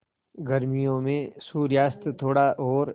गर्मियों में सूर्यास्त थोड़ा और